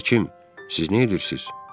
Həkim, siz neyirsiz?